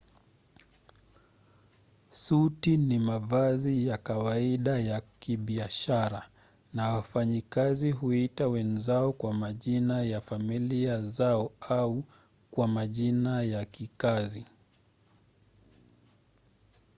suti ni mavazi ya kawaida ya kibiashara na wafanyikazi huita wenzao kwa majina ya familia zao au kwa majina ya kikazi